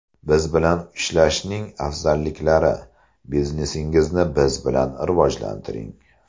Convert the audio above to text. Biz bilan ishlashning afzalliklari: Biznesingizni biz bilan rivojlantiring!